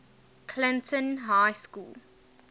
clinton high school